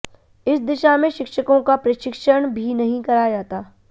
इस दिशा में शिक्षकों का प्रशिक्षण भी नहीं कराया जाता